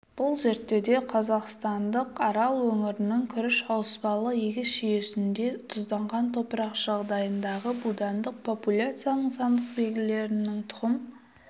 бұл зерттеуде қазақстандық арал өңірінің күріш ауыспалы егіс жүйесінде тұзданған топырақ жағдайындағы будандық популяцияның сандық белгілерінің тұқым